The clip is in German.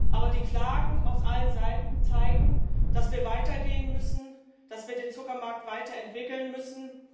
Aber die Klagen von allen Seiten zeigen, dass wir weiter gehen müssen, dass wir den Zuckermarkt weiterentwickeln müssen.